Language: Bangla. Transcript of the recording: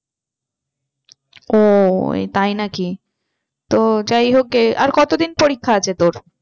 ও তাই নাকি? তো যাই হোক গে আর কতদিন পরিক্ষা আছে তোর?